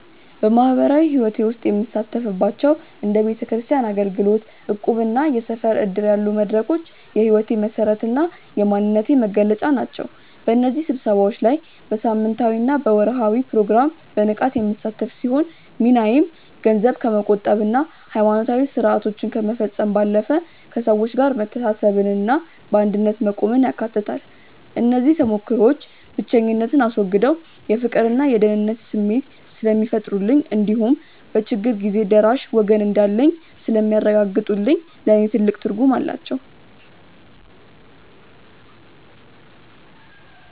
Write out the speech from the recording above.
በማኅበራዊ ሕይወቴ ውስጥ የምሳተፍባቸው እንደ ቤተክርስቲያን አገልግሎት፣ እቁብና የሰፈር ዕድር ያሉ መድረኮች የሕይወቴ መሠረትና የማንነቴ መገለጫ ናቸው። በእነዚህ ስብሰባዎች ላይ በሳምንታዊና በወርኃዊ ፕሮግራም በንቃት የምሳተፍ ሲሆን፣ ሚናዬም ገንዘብ ከመቆጠብና ሃይማኖታዊ ሥርዓቶችን ከመፈጸም ባለፈ፣ ከሰዎች ጋር መተሳሰብንና በአንድነት መቆምን ያካትታል። እነዚህ ተሞክሮዎች ብቸኝነትን አስወግደው የፍቅርና የደህንነት ስሜት ስለሚፈጥሩልኝ እንዲሁም በችግር ጊዜ ደራሽ ወገን እንዳለኝ ስለሚያረጋግጡልኝ ለእኔ ትልቅ ትርጉም አላቸው።